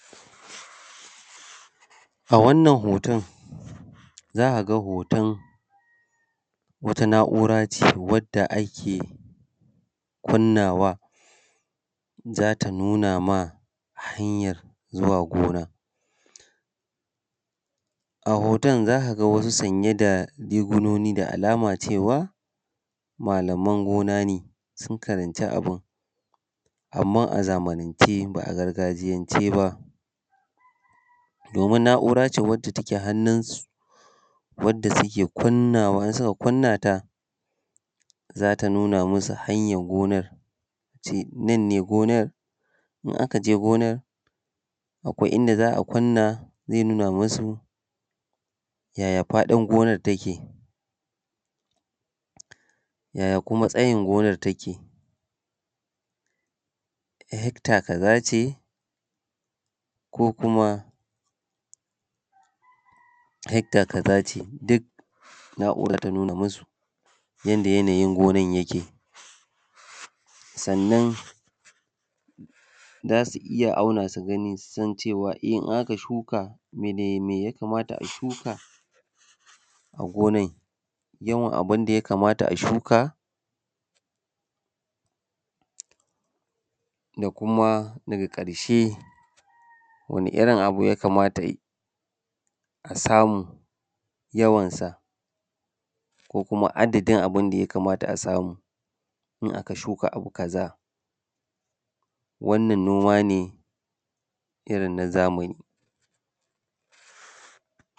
A wannan hoton za a ga hoton wata na'ura ce wanda ake kunnawa za ta nuna maka hanyar zuwa gona. A hoton za ka ga wasu sanye da rigunoni da alama cewa malaman gona ne. Sun karanci abun amma a zamanance ba a gargajiyance ba, domin na'ura ce wacce take hannun su, wadda suke kunnawa, in suka kunnata za ta nuna masu hanyan gonar, nanne gonar in aka je gonar akwai inda za a kunna zai nuna masu yaya faɗin gonar take, ya kuma tsayin gonar take, hecter kaza ce ko kuma hecter kaza ce. Duk na'uran za ta nuna masu yanda yanayin gonar yake. Sannan za su iya auna su gani su san cewa in aka shuka dame dame ya kamata a shuka a gonar, yawan abun da ya kamata a shukka da kuma da ga karshe da kuma wani irin abu ya kamata a samu yawan sa ko kuma adadin abun da ya kamata samu in aka shuka abu kaza wannan noma ne irin na zamani.